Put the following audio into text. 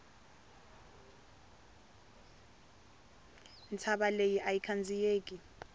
ntshava leyi ayi khandziyeki